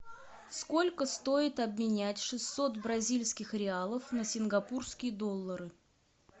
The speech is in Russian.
сколько стоит обменять шестьсот бразильских реалов на сингапурские доллары